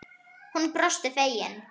Hún brosti fegin.